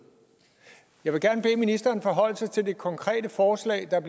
jeg vil gerne bede ministeren forholde sig til det konkrete forslag der er